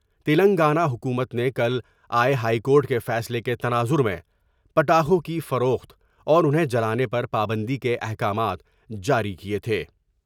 تلنگانہ حکومت نے کل آۓ ہائیکورٹ کے فیصلے کے تناظر میں پٹاخوں کی فروخت اور انہیں جلانے پر پابندی کے احکامات جاری کئے تھے ۔